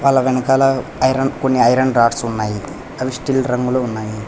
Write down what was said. వాళ్ళ వెనకాల ఐరన్ కొన్ని ఐరన్ రాడ్స్ ఉన్నాయి అవి స్టీల్ రంగులో ఉన్నాయి.